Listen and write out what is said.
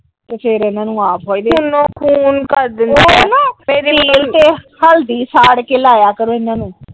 ਤੇ ਫਿਰ ਇਹਨਾਂ ਨੂੰ ਆਪ ਤੇਲ ਤੇ ਹਲਦੀ ਸਾੜਕੇ ਲਾਇਆ ਕਰੋ ਇਹਨਾਂ ਨੂੰ।